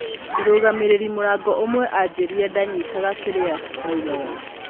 Mũrũgamĩrĩri murango ũmwe anjĩrire ndanyitaga kĩrĩa ndaugaga.